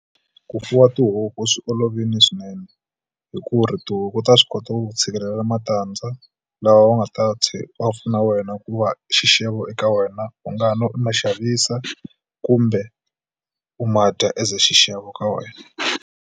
Ku fuwa tihuku swi olovile swinene hi ku ri tihuku ta swi kota ku tshikelela matandza laha u nga ta pfuna wena ku va xixevo eka wena u nga va u ma xavisa kumbe u ma dya as xixevo ka wena.